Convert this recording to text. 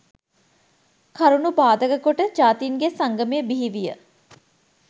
කරුණු පාදක කොට ජාතීන්ගේ සංගමය බිහිවිය